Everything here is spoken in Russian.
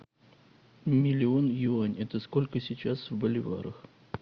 миллион юань это сколько сейчас в боливарах